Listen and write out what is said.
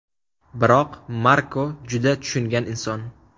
Biroq Marko juda tushungan inson.